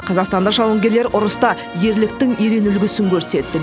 қазақстандық жауынгерлер ұрыста ерліктің ерен үлгісін көрсетті